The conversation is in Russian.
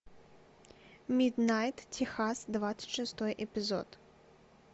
миднайт техас двадцать шестой эпизод